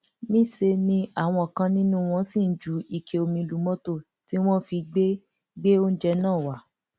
níṣẹ ni àwọn kan nínú wọn ṣì ń ju ike omi lu mọtò tí wọn fi gbé gbé oúnjẹ náà wá